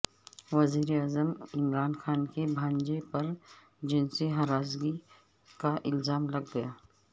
وزیر اعظم عمرا ن خان کے بھانجے پر جنسی ہراسگی کا الزام لگ گیا